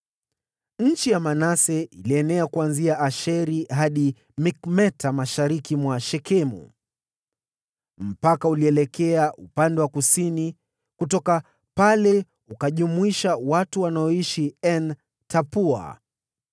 Eneo la Manase lilienea kuanzia Asheri hadi Mikmeta mashariki mwa Shekemu. Mpaka ule ulielekea upande wa kusini kutoka pale kujumuisha watu walioishi En-Tapua.